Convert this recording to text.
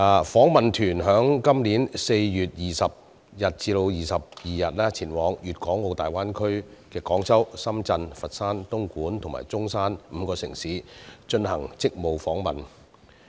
訪問團於今年4月20日至22日前往粵港澳大灣區的廣州、深圳、佛山、東莞及中山5個城市進行職務訪問。